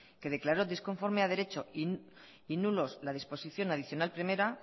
que declaró disconforme a derecho y nulos la disposición adicional primera